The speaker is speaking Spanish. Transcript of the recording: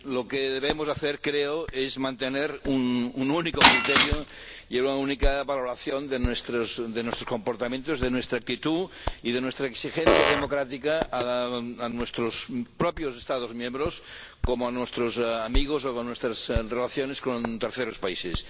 Lo que debemos hacer, creo, es mantener un único criterio y una única valoración de nuestros de nuestros comportamientos, de nuestra actitud y de nuestra exigencia democrática a nuestros propios Estados miembros, como a nuestros amigos, o en nuestras relaciones con terceros países